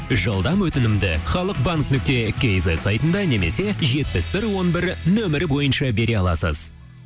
жылдам өтінімді халық банк нүкте кизет сайтында немесе жетпіс бір он бір нөмірі бойынша бере аласыз